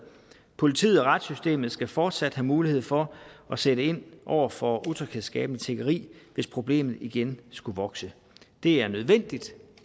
politiet og retssystemet skal fortsat have mulighed for at sætte ind over for utryghedsskabende tiggeri hvis problemet igen skulle vokse det er nødvendigt